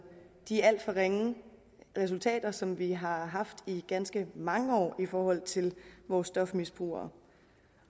de alt for ringe resultater som vi har haft i ganske mange år i forhold til vores stofmisbrugere